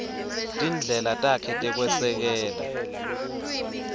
tindlela takhe tekwesekela